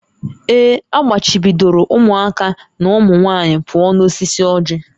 Ee, a gbachibidoro ụmụaka na ụmụ nwanyị pụọ n'osisi ọjị